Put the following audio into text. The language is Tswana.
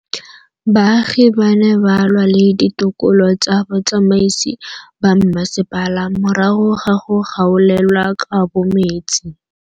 Baagi ba ne ba lwa le ditokolo tsa botsamaisi ba mmasepala morago ga go gaolelwa kabo metsi.